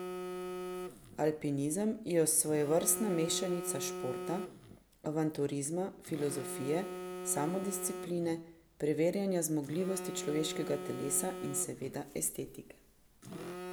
Alpinizem je svojevrstna mešanica športa, avanturizma, filozofije, samodiscipline, preverjanja zmogljivosti človeškega telesa in seveda estetike.